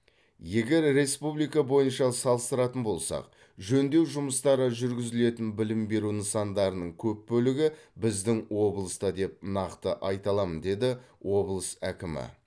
егер республика бойынша салыстыратын болсақ жөндеу жұмыстары жүргізілетін білім беру нысандарының көп бөлігі біздің облыста деп нақты айта аламын деді облыс әкімі